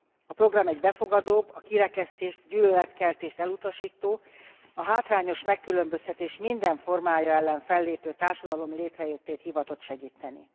A program egy befogadóbb, a kirekesztést, gyűlöletkeltést elutasító, a hátrányos megkülönböztetés minden formája ellen fellépő társadalom létrejöttét hivatott segíteni.